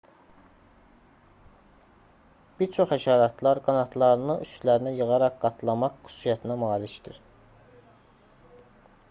bir çox həşəratlar qanadlarını üstlərinə yığaraq qatlamaq xüsusiyyətinə malikdir